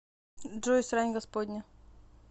джой срань господня